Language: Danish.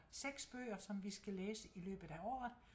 6 bøger som vi skal læse i løbet af året